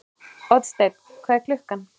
Oddsteinn, hvað er klukkan?